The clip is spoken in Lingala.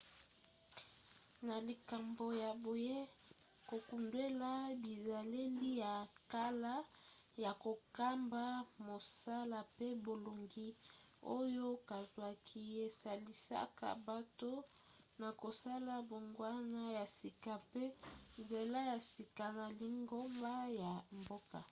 na likambo ya boye kokundwela bizaleli ya kala ya kokamba mosala pe bolongi oyo bazwaki esalisaka bato na kosala mbongwana ya sika mpe nzela ya sika na lingomba ya mboka